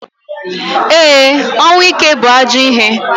E, ọnwụ ike bu ajọ ihe.